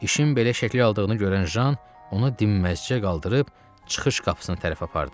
İşin belə şəkil aldığını görən Jan onu dinməzçə qaldırıb çıxış qapısına tərəf apardı.